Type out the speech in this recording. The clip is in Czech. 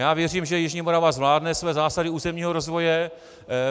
Já věřím, že jižní Morava zvládne své zásady územního rozvoje.